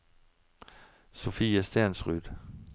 Sofie Stensrud